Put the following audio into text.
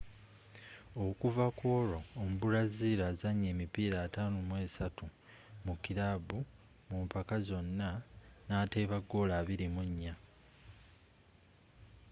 okuva kwolwo omubraziru azannye emipiira 53 mu kirabu mu mpaka zonna n'ateeba goolo 24